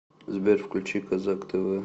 сбер включи козак тэ вэ